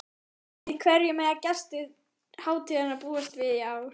Sjón, við hverju mega gestir hátíðarinnar búast við í ár?